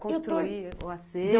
Construir o acervo?